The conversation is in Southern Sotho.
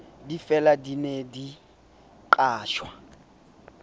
difela di ne di qatjwa